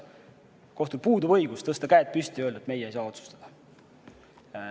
Kohtul puudub õigus tõsta käed püsti ja öelda, et meie ei saa otsustada.